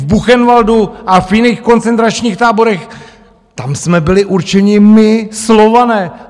V Buchenwaldu a v jiných koncentračních táborech, tam jsme byli určeni my, Slované.